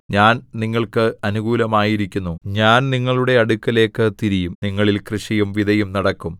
ഞാൻ നിങ്ങൾക്ക് അനുകൂലമായിരിക്കുന്നു ഞാൻ നിങ്ങളുടെ അടുക്കലേക്ക് തിരിയും നിങ്ങളിൽ കൃഷിയും വിതയും നടക്കും